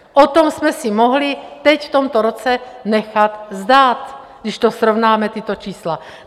O tom jsme si mohli teď, v tomto roce, nechat zdát, když to srovnáme, tato čísla.